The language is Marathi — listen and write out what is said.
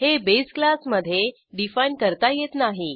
हे बेस क्लासमधे डिफाईन करता येत नाही